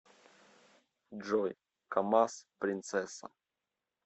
джой камаз принцесса